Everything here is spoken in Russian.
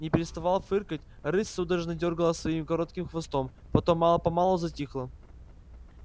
не переставая фыркать рысь судорожно дёргала своим коротким хвостом потом мало помалу затихла